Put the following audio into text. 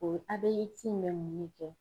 O ABX mɛ mun ne kɛ?